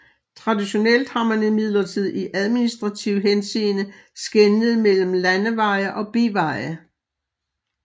Traditionelt har man imidlertid i administrativ henseende skelnet mellem landeveje og biveje